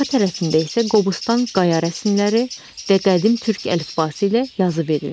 Arxa tərəfində isə Qobustan qaya rəsmləri və qədim türk əlifbası ilə yazı verilmişdir.